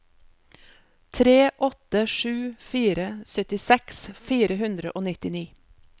tre åtte sju fire syttiseks fire hundre og nittini